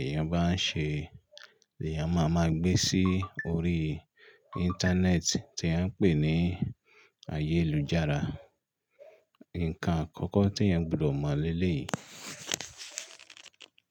èèyàn bá ń ṣe ni èèyàn máa ma gbé sí orí Íńtánẹ́ẹ̀tì tí à ń pè ní ayélujára. Nǹkan àkọ́kọ́ tí èèyàn gbọ́dọ̀ mọ̀ lé lé yìí.